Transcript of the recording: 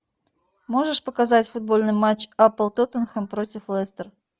можешь показать футбольный матч апл тоттенхэм против лестер